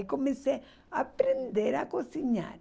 e comecei a aprender a cozinhar.